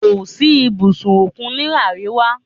Kò sí ibùdó òkun ní àríwá.